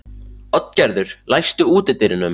Oddgerður, læstu útidyrunum.